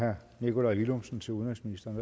herre nikolaj villumsen til udenrigsministeren